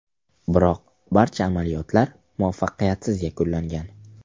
Biroq barcha amaliyotlar muvaffaqiyatsiz yakunlangan.